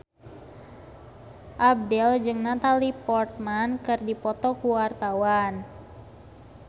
Abdel jeung Natalie Portman keur dipoto ku wartawan